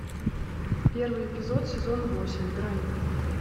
первый эпизод сезон восемь грань